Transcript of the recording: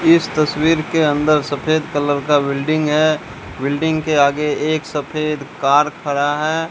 इस तस्वीर के अंदर सफेद कलर का बिल्डिंग है बिल्डिंग के आगे एक सफेद कार खड़ा है।